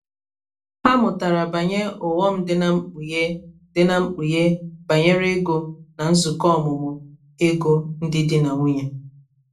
ha mụtara banyere ughọm dị na mkpughe dị na mkpughe banyere ego na nzukọ ọmụmụ ego ndị dị na nwunye